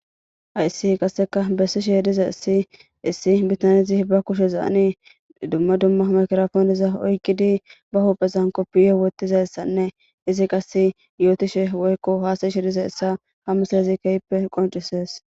Hayssi qasseka bessishe diza issi issi bitanzi ba kushe zaani dumma dumma makrafooniza oykkidi ba huphezan koppiye wotizayssanne izi qase yootishe woykko haasasheediza essa hamuslezi keyppe qoncisees